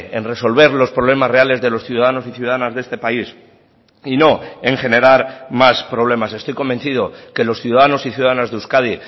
en resolver los problemas reales de los ciudadanos y ciudadanas de este país y no en generar más problemas estoy convencido que los ciudadanos y ciudadanas de euskadi